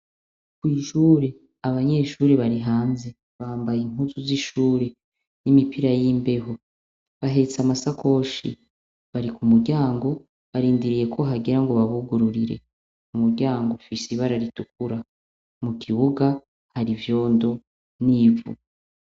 Ku ishuri abanyeshuri bari hanze bambaye impuzu z'ishuri n'imipira y'imbeho bahetse amasakoshi bari ku muryango barindiriye ko hagera ngo babugurire umuryango ufise ibara ritukura mu kibuga hari ivyondo n'ivu.